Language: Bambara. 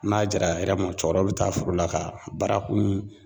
N'a jɛra hɛrɛ ma, cɔkɔrɔ bɛ taa foro la ka bara kun